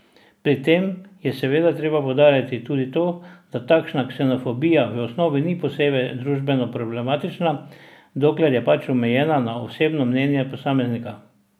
Pri tem je seveda treba poudariti tudi to, da takšna ksenofobija v osnovi ni posebej družbeno problematična, dokler je pač omejena na osebno mnenje posameznika.